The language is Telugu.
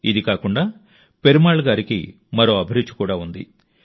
ఇది కాకుండా పెరుమాళ్ గారికి మరో అభిరుచి కూడా ఉంది